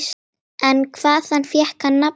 En hvaðan fékk hann nafnið?